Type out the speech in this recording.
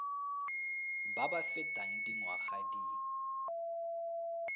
ba ba fetang dingwaga di